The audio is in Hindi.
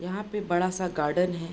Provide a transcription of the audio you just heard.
यहाँ पे बड़ा-सा गार्डन है।